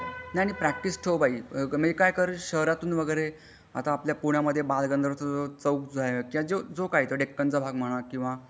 नाही नाही प्रॅक्टिस ठेव बाई म्हणजे काय कर शहरातून वगैरे म्हणजे आता आपल्या पुण्यामध्ये बालगंधर्व चौक आहे जो काही किंवा डेक्कन चा भाग म्हणा किंवा